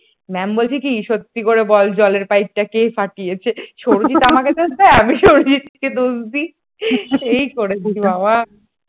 ma'am বলছে কি সত্যি করে বল জলের পাইপটা কে ফাটিয়েছে সৌরজিৎ আমাকে দেয় আমি সৌরজিৎ কে দোষ দেই এই করেছি বাবা